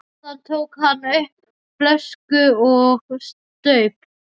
Þaðan tók hann upp flösku og staup.